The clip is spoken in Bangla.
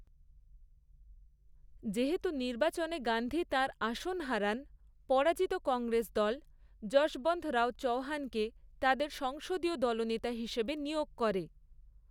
যেহেতু নির্বাচনে গান্ধী তাঁর আসন হারান, পরাজিত কংগ্রেস দল যশবন্তরাও চৌহানকে তাদের সংসদীয় দলনেতা হিসাবে নিয়োগ করে।